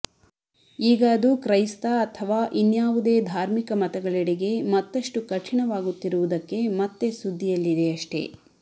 ಈಗ ಅದು ಕ್ರೈಸ್ತ ಅಥವಾ ಇನ್ಯಾವುದೇ ಧಾರ್ಮಿಕ ಮತಗಳೆಡೆಗೆ ಮತ್ತಷ್ಟು ಕಠಿಣವಾಗುತ್ತಿವುದಕ್ಕೆ ಮತ್ತೆ ಸುದ್ದಿಯಲ್ಲಿದೆಯಷ್ಟೇ